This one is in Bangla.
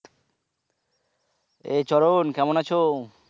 এই চরণ কেমন আছো?